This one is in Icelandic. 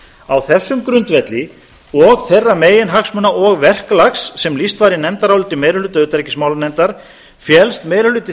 á þessum grundvelli og þeirra meginhagsmuna og verklags sem lýst var í nefndaráliti meiri hluta utanríkismálanefndar féllst meiri hluta